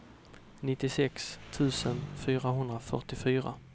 nittiosex tusen fyrahundrafyrtiofyra